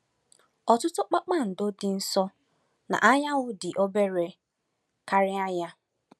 Ọtụtụ kpakpando dị nso na anyanwụ dị obere karịa ya.